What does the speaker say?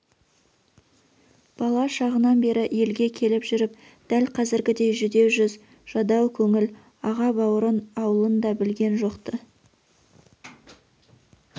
бала шағынан бері елге келіп жүріп дәл қазіргідей жүдеу жүз жадау көңіл аға-бауырын аулын да білген жоқ-ты